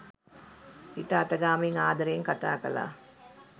පිට අතගාමින් ආදරයෙන් කතා කළා